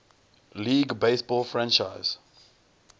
league baseball franchise